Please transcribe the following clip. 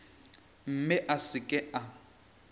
mme a se ke a